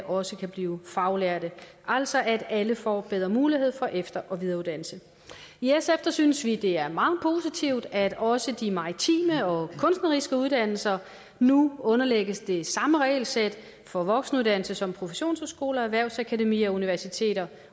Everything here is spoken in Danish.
også kan blive faglærte altså at alle får bedre mulighed for efter og videreuddannelse i sf synes vi det er meget positivt at også de maritime og kunstneriske uddannelser nu underlægges det samme regelsæt for voksenuddannelse som professionshøjskoler erhvervsakademier og universiteter